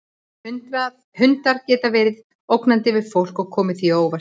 Hundar geta líka verið ógnandi við fólk og komið því á óvart.